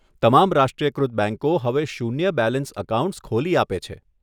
તમામ રાષ્ટ્રીયકૃત બેંકો હવે શૂન્ય બેલેન્સ અકાઉન્ટ્સ ખોલી આપે છે.